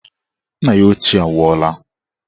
Nna ya ochie nwụọla